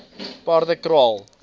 paardekraal